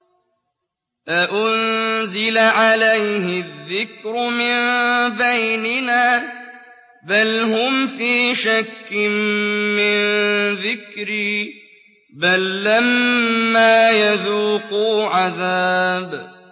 أَأُنزِلَ عَلَيْهِ الذِّكْرُ مِن بَيْنِنَا ۚ بَلْ هُمْ فِي شَكٍّ مِّن ذِكْرِي ۖ بَل لَّمَّا يَذُوقُوا عَذَابِ